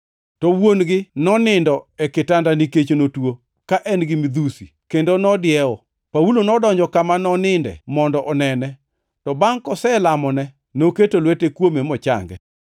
To wuon-gi nonindo e kitanda nikech notuo, ka en gi midhusi, kendo nodiewo. Paulo nodonjo kama noninde mondo onene, to bangʼ koselamone, noketo lwete kuome mochange.